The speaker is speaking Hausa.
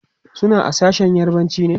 suna a sashen yarbanci ne